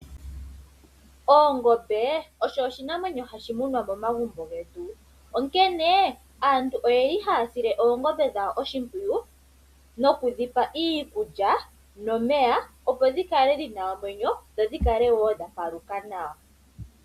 Ongombe osho oshinamwenyo hashi munwa momagumbo getu, onkene aantu oyeli haya sile oongombe dhawo oshimpwiyu nokudhi pa iikulya nomeya, opo dhi kale dhina omwenyo dho dhi kale wo dha paluka nawa.